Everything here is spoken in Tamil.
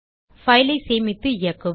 பைல் ஐ சேமித்து இயக்குவோம்